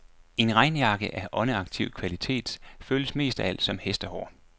En regnjakke af åndeaktiv kvalitet føles mest af alt som.